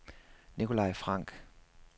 Nikolaj Frank